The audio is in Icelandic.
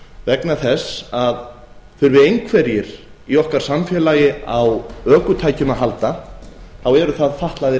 vegna þess að þurfi einhverjir í okkar samfélagi á ökutækjum að halda þá eru það fatlaðir